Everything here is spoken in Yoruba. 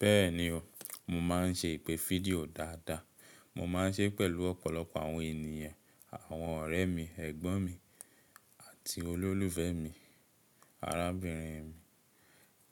Bẹ́ẹ̀ni o, mo máa ń ṣe ìpè fídíò dáadáa. Mo máa ń ṣe é pẹ̀lú ọ̀pọ̀lọpọ̀ àwọn ènìyàn, àwọn ọ̀rẹ́ mi, ẹ̀gbọ́n mi àti olólùfẹ́ mi, arábìnrin mi.